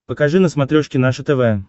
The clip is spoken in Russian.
покажи на смотрешке наше тв